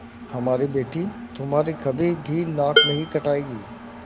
हमारी बेटी तुम्हारी कभी भी नाक नहीं कटायेगी